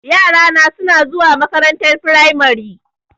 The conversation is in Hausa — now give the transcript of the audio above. Yara na suna zuwa makarantar firamari.